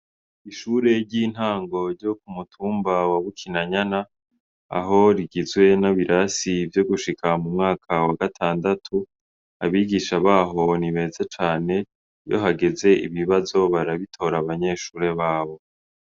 Ishure ry'intango ryo k'umutumba wa Bukinanyana, aho rigizwe n'ibirasi vyo gushika mu mwaka wa gatandatu, abigisha baho ni beza cane, iyo hageze ibibazo barabitora abanyeshure babo.